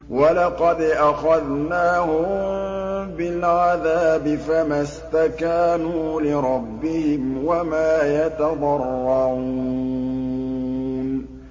وَلَقَدْ أَخَذْنَاهُم بِالْعَذَابِ فَمَا اسْتَكَانُوا لِرَبِّهِمْ وَمَا يَتَضَرَّعُونَ